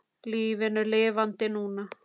LÍFINU LIFANDI NÚNA!